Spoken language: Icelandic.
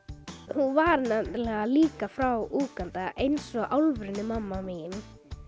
hún var nefnilega líka frá Úganda eins og alvöru mamma mín